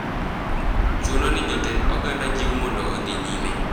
Chuno ni jotend oganda jiw mondo odhi nyime.